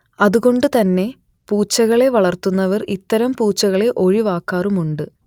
അതുകൊണ്ട് തന്നെ പൂച്ചകളെ വളർത്തുന്നവർ ഇത്തരം പൂച്ചകളെ ഒഴിവാക്കാറുമുണ്ട്